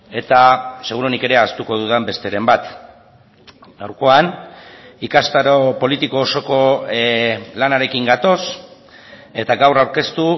eta seguruenik ere ahaztuko dudan besteren bat gaurkoan ikastaro politiko osoko lanarekin gatoz eta gaur aurkeztu